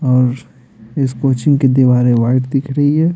और इस कोचिंग की दीवारें वाइट दिख रही है।